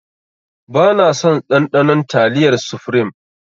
Bana son ɗanɗanon taliyar sufrim